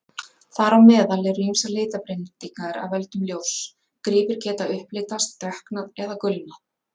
Þar á meðal eru ýmsar litabreytingar af völdum ljóss: gripir geta upplitast, dökknað eða gulnað.